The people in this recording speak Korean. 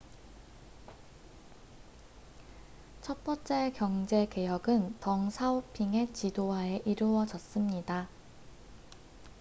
첫 번째 경제 개혁은 덩 사오핑의 지도하에 이루어졌습니다